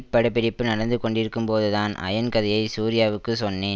படப்பிடிப்பு நடந்து கொண்டிருக்கும்போதுதான் அயன் கதையை சூர்யாவுக்கு சொன்னேன்